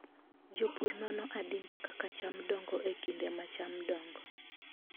Jopur nono adimba kaka cham dongo e kinde ma cham dongo.